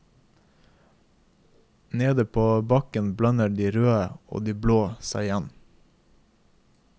Nede på bakken blander de røde og de blå seg igjen.